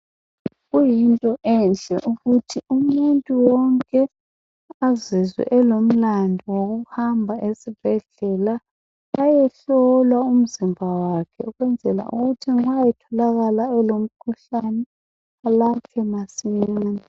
Kuyinto enhle ukuthi umuntu wonke azizwe elomlandu wokuhamba esibhedlela ayehlolwa umzimba wakhe ukwenzela ukuthi nxa etholakala elomkhuhlane alatshwe masinyane.